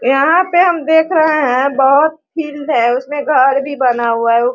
यहाँ पे हम देख रहे हैं बहोत फील्ड है उसमें घर भी बना हुआ है।